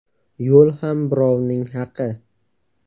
Yo‘l ham birovning haqi.